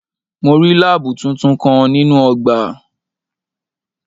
Mo rí láábù tuntun kan nínú ọgbà.